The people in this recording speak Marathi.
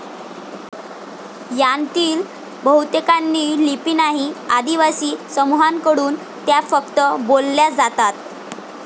यांतील बहुतेकांना लिपी नाही, आदिवासी समूहांकडून त्या फक्त बोलल्या जातात.